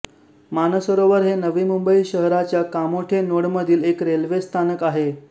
मानसरोवर हे नवी मुंबई शहराच्या कामोठे नोडमधील एक रेल्वे स्थानक आहे